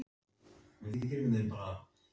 Hringdi ég til hans og sagði hann það rétt vera.